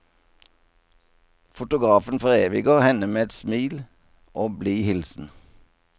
Fotografen foreviger henne med smil og blid hilsen.